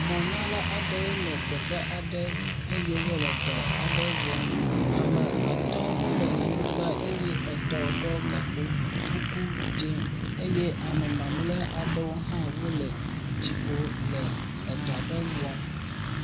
Mɔnyala aɖewo le teƒe aɖe eye wole dɔ aɖe wɔm. ame at wole anyigbã eye etɔ ɖɔ gakpo kuku dz0 eye ame mamlɛ aɖewo le dziƒo le edɔa ɖe wɔm.